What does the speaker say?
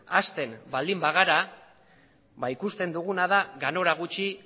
hasten baldin bagara ikusten duguna da ganora gutxi